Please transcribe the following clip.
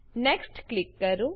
next click કરો